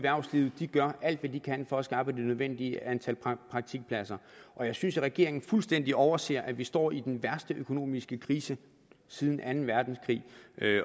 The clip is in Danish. i erhvervslivet gør alt hvad de kan for at skaffe det nødvendige antal praktikpladser og jeg synes at regeringen fuldstændig overser at vi står i den værste økonomiske krise siden anden verdenskrig